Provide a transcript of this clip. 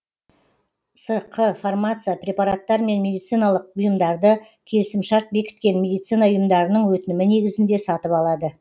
сқ фармация препараттар мен медициналық бұйымдарды келісімшарт бекіткен медицина ұйымдарының өтінімі негізінде сатып алады